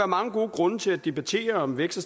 mange gode grunde til at debattere om vækst